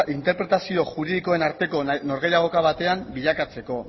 interpretazio juridikoen arteko norgehiagoka batean bilakatzeko